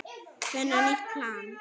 Finna nýtt plan.